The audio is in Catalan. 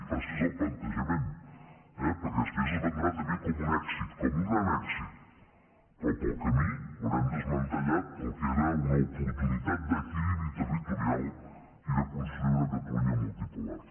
faci’s el plantejament eh perquè després es vendrà també com un èxit com un gran èxit però pel camí haurem desmantellat el que era una oportunitat d’equilibri territorial i de construir una catalunya multipolar